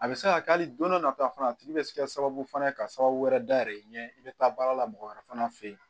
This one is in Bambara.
A bɛ se ka kɛ hali don dɔ nata fana a tigi bɛ se ka sababu fana ka sababu wɛrɛ dayɛlɛ ɲɛ i bɛ taa baara la mɔgɔ wɛrɛ fana fɛ yen